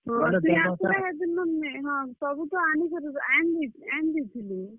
ସବୁ ତ ଆନିଦେଇଥିଲେ।